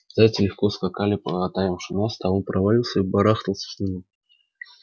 зайцы легко скакали по таявшему насту а он проваливался и барахтался в снегу